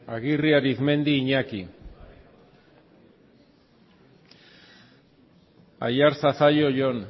aguirre arizmendi iñaki aiartza zallo jon